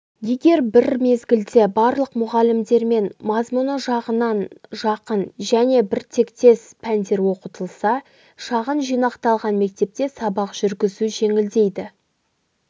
егер бір мезгілде барлық бөлімдермен мазмұны жағынан жақын және біртектес пәндер оқытылса шағын жинақталған мектепте сабақ жүргізу жеңілдейді